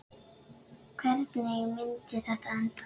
Hvernig myndi þetta enda?